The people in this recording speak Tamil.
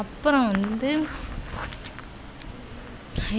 அப்புறம் வந்து